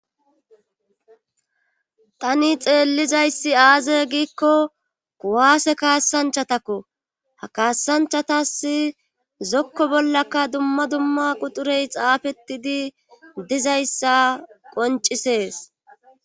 Tani xeellizayssi aaze giikko kuwaase kaassanchatakko ha kaassanchatas zokko bollaka dumma dumma quxurey xaafetidi dizayssa qoncisees.